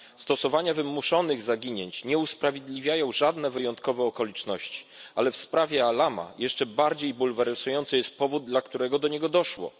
Stosowania wymuszonych zaginięć nie usprawiedliwiają żadne wyjątkowe okoliczności, ale w sprawie Alama jeszcze bardziej bulwersujący jest powód, dla którego do niego doszło.